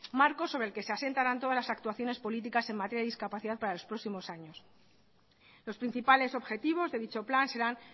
marco sobre el que se asentarán todas las actuaciones políticas en materia de discapacidad para los próximos años los principales objetivos de dicho plan serán